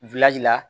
la